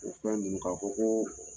U fɛn ninnu k'a fɔ ko